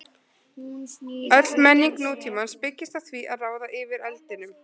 Öll menning nútímans byggist á því að ráða yfir eldinum.